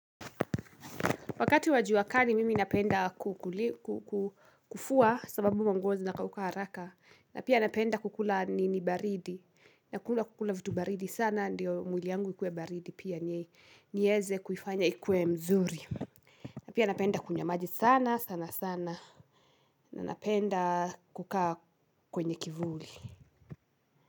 Wakati wa jua kali mimi napenda kufua sababu manguo zinakauka haraka. Na pia napenda kukula nini baridi. Nakula kukula vitu baridi sana. Ndiyo mwili yangu ikue baridi pia niweze kufanya ikue mzuri. Na pia napenda kunywa maji sana sana sana. Na napenda kukua kwenye kivuli.